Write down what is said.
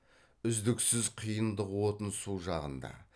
үздіксіз қиындық отын су жағында